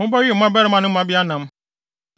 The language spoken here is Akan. Mobɛwe mo mmabarima ne mo mmabea nam.